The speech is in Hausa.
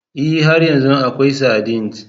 Ee, har yanzu akwai sardines.